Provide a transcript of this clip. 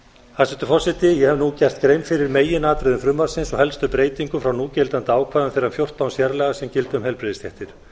hæstvirtur forseti ég hef nú gert grein fyrir meginatriðum frumvarpsins og helstu breytingum frá núgildandi ákvæðum þeirra fjórtán sérlaga sem gilda um heilbrigðisstéttir